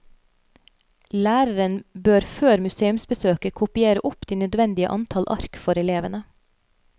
Læreren bør før museumsbesøket kopiere opp de nødvendige antall ark for elevene.